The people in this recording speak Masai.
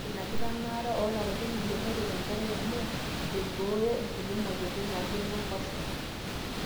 ore ina kitanaata oolapaitin ile neret enkerai amu eibooyo nkulie mweyiaritin naijo inenkoshoke